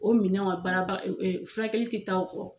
O mina furakɛli tɛ taa o kɔ.